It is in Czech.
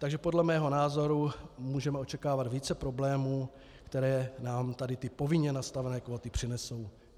Takže podle mého názoru můžeme očekávat více problémů, které nám tady ty povinně nastavené kvóty přinesou.